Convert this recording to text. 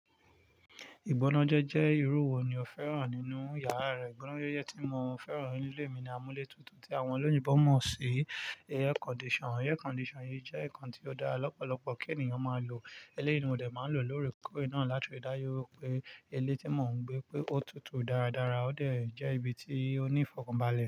Ìgbọnájẹ́ jẹ́ irú wo ni o fẹ́ràn nínú yàrá rẹ? Ìgbọnájẹ́je tí mo fẹ́ràn ní ilé mi ni amúlétutù tí àwọn olóyinbọ̀ mọ̀ sí air condition. Air condition yìí jẹ́ ǹkan tí ó dára lọ́pọ̀lọpọ̀ kí ènìyàn máa lò. Eléyìí ni mo dé máa ń lò loore koore naa láti ri dá ju wipe ilé tí mò ń gbé pé ó tutù dáradára ó dè jẹ́ ibi tí ó ní ìfọ̀kànbalẹ̀